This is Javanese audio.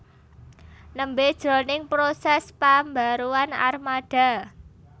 nembé jroning prosès pambaruan armada